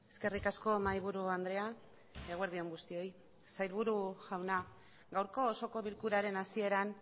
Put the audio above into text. eskerrik asko mahaiburu andrea eguerdi on guztioi sailburu jauna gaurko osoko bilkuraren hasieran